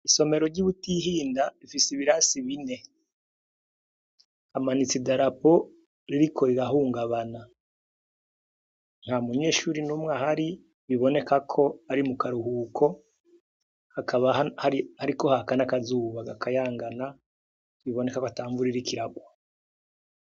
Isomero ry'i Butihinda rifise ibirasi bine. Hamanitse idarapo ririko rirahungabana. Ntamunyeshuri numwe ahari, biboneka ko ari mu karuhuko, hakaba hariko haka n'akazuba gakayangana biboneka ko atamvura iriko iragwa.